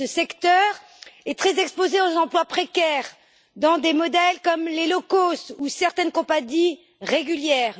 Ce secteur est très exposé aux emplois précaires dans des modèles comme les low cost ou certaines compagnies régulières.